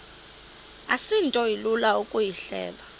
asinto ilula ukuyihleba